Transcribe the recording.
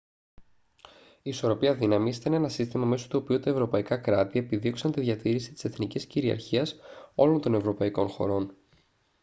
η ισορροπία δύναμης ήταν ένα σύστημα μέσω του οποίου τα ευρωπαϊκά κράτη επιδίωξαν τη διατήρηση της εθνικής κυριαρχίας όλων των ευρωπαϊκών χωρών